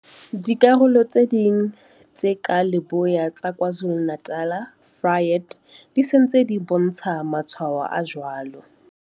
Dikarolo tse ding tse ka Leboya tsa KwaZulu-Natal, Vryheid, di se ntse di bontsha matshwao a jwalo.